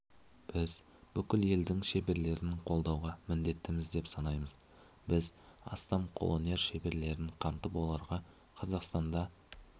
біз бүкіл елдің шеберлерін қолдауға міндеттіміз деп санаймыз біз астам қолөнер шеберлерін қамтып оларға қазақстанда